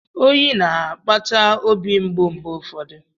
Oyi na-akpata obi mgbu mgbe ụfọdụ.